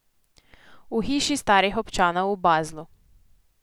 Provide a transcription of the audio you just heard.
V hiši starih občanov v Baslu.